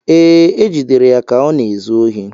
Ee, e jidere ya ka ọ na-ezu ohi